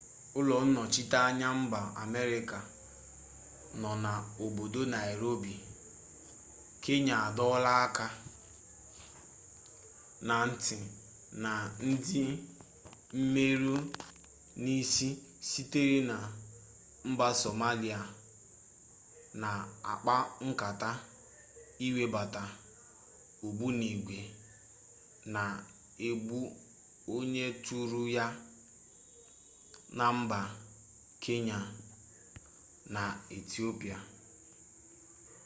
ulo-nnochita-anya mba ameriaca no na obodo nairobi kenya adoola aka-na-nti na ndi-mmeru-nisi sitere na mba somalia na akpa-nkata iwebata ogbunigwe na-egbu-onye-turu-ya na mba kenya na ethiopia